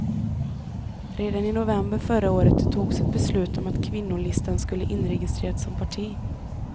Redan i november förra året togs ett beslut om att kvinnolistan skulle inregistreras som parti.